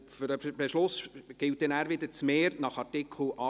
Für den Beschluss gilt das Mehr nach Artikel 78.»